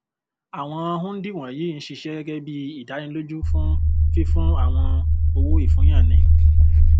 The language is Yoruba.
àwọn hundí wọnyí ń ṣiṣẹ gẹgẹ bí ìdánilójú fún fífún àwọn owóìfúnyáni